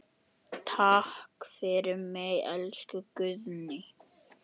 Takk fyrir mig, elsku Guðný.